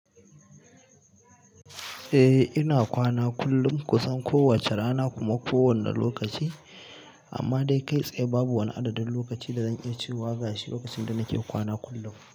Eh ina kwana kullum, kun san kowace rana kuma kowane lokaci, amma dai kai tsaye babu wani adadin lokaci da zan iya cewa gashi lokacin da nake kwana kullum.